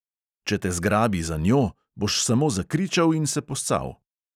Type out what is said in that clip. Če te zgrabi za njo, boš samo zakričal in se poscal.